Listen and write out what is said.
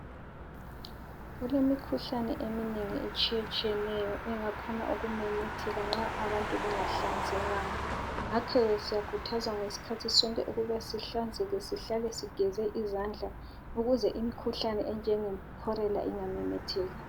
Kulemikhuhlane eminengi etshiyetshiyeneyo engakhona ukumemetheka nxa abantu bengahlanzekanga. Ngakhoke siyakhuthazwa ngesikhathi ukuba sihlale sigeze izandla ukuze imikhuhlane enjengekholera ingamemetheki.